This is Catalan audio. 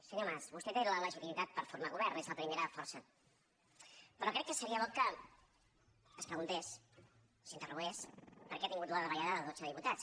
senyor mas vostè té la legitimitat per formar govern és la primera força però crec que seria bo que es preguntés s’interrogués per què ha tingut la davallada de dotze diputats